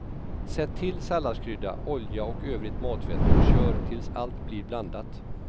Sätt till salladskrydda, olja och övrigt matfett och kör tills allt blir blandat.